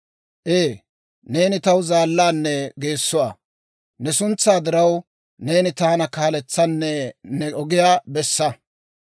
Ee, neeni taw zaallaanne geessuwaa; ne suntsaa diraw, neeni taana kaaletsanne ne ogiyaa bessa.